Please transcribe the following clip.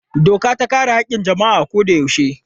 Doka ta kare haƙƙin jama'a a koyaushe.